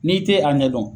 N'i te a ɲɛ dɔn